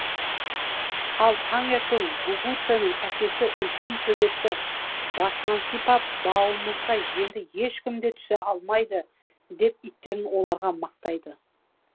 ал таңертең гугуцэнің әкесі үлкен төбетті басынан сипап бауымызға енді ешкім де түсе алмайды деп иттерін оларға мақтайды